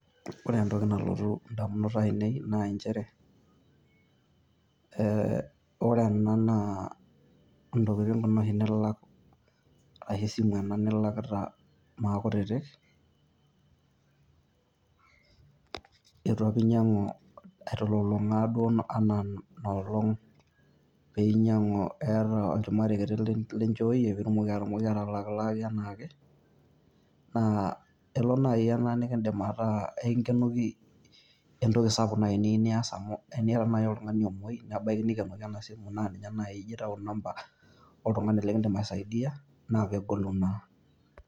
Ore entoki nalotu idamunot ainei naa nchere entokitin' oshi ena nilak ashu esimu oshi ena nilakita Maa kutitik, eitu apa inyiang'u aitilulung'aa apa Ina olong' eeta olchumati kiti apa linchooyie piitumoki atutumoki atalaalilaaki enaake. Naa elo naaji ena naa kakiidim aikenoki entoki sapuk naaji nijo aas amu teniata naaji oltung'ani omoi neikenoki naaji ena simu naa ninye naji ejo aitaunyie enamba aisho oltung'ani lekiidim aisaidia naa kegolu naa.